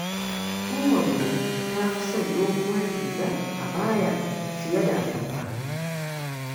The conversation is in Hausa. Ummanmu ta fi son doguwar riga abaya fiye da atamfa.